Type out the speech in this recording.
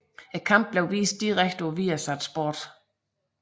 Kampen blev vist direkte på Viasat Sport